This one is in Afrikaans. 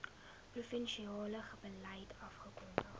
provinsiale beleid afgekondig